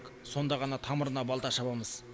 сонда ғана тамырына балта шабамыз